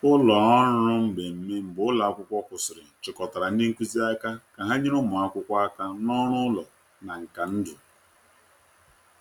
Ụlọ ọrụ mmemme mgbe ụlọ akwụkwọ kwụsịrị chịkọtara ndị nkuzi aka ka ha nyere ụmụ akwụkwọ aka na ọrụ ụlọ na nka ndụ.